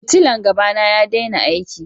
Fitillan gaba na ya daina aiki jiya.